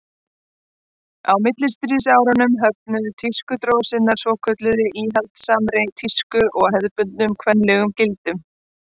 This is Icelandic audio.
á millistríðsárunum höfnuðu tískudrósirnar svokölluðu íhaldssamri tísku og hefðbundnum kvenlegum gildum